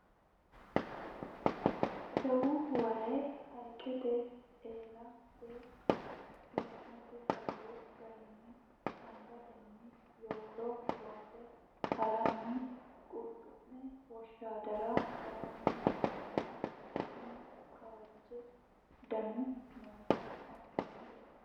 jawu waye hayiiqete eela beettu yannate hayyo garinni angatenni yowolo loose haranni qulxu'me woshshaadara haranni nootanna isino kawaage daannui noota anafnnite